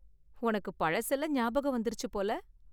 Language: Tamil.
உனக்கு பழசெல்லாம் ஞாபகம் வந்திருச்சு போல.